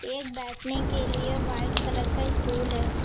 एक बैठने के लिए व्हाइट कलर का स्टूल है।